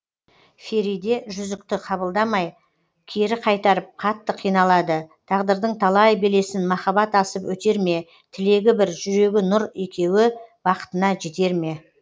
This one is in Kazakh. фериде жүзікті қабылдамай кері қайтарып қатты қиналады тағдырдың талай белесін махаббат асып өтер ме тілегі бір жүрегі нұр екеуі бақытына жетер ме